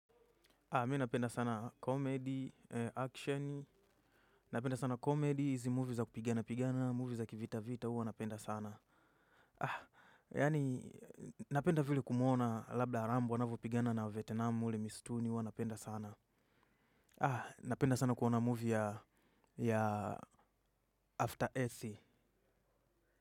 Mi napenda sana comedy, action, napenda sana comedy, hizi movie za kupigana-pigana, movies za kivita-vita huwa napenda sana. Yaani napenda vile kumuona Labda Rambo, anavyopigana na wavietnam mle mistuni, huwa napenda sana. Napenda sana kuona movie ya After Earthy.